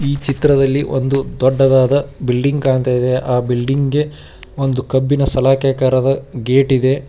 ಈ ಚಿತ್ರದಲ್ಲಿ ಒಂದು ದೊಡ್ಡದಾದ ಬಿಲ್ಡಿಂಗ್ ಕಾಣ್ತಾ ಇದೆ ಆ ಬಿಲ್ಡಿಂಗ್ ಗೆ ಒಂದು ಕಬ್ಬಿಣ ಸಲಾಕೆಕಾರದ ಗೇಟಿ ದೆ.